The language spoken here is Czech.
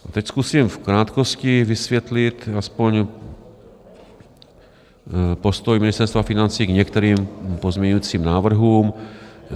Teď zkusím v krátkosti vysvětlit aspoň postoj Ministerstva financí k některým pozměňovacím návrhům.